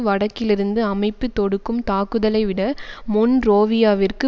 வடக்கிலிருந்து அமைப்பு தொடுக்கும் தாக்குதலைவிட மொன்ரோவியாவிற்கு